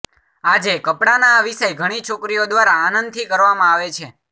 આજે કપડાના આ વિષય ઘણી છોકરીઓ દ્વારા આનંદથી કરવામાં આવે છે